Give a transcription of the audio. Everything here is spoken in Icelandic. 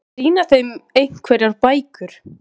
Sýna þeim einhverjar bækur?